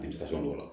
An tɛ ka fɛn dɔ la